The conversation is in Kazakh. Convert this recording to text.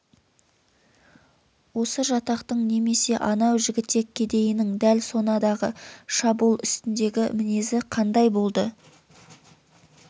осы жатақтың немесе анау жігітек кедейінің дәл сонадағы шабуыл үстіндегі мінезі қандай болды